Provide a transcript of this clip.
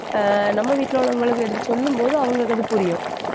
ஆஹ் நம்ம வீட்டுல உள்ளவங்களுக்கு எடுத்துச் சொல்லும்போது அவங்களுக்கு அது புரியும்